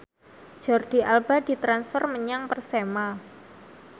Jordi Alba ditransfer menyang Persema